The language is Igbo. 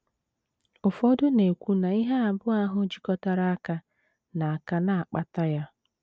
Ụfọdụ na - ekwu na ihe abụọ ahụ jikọtara aka na - aka na - akpata ya.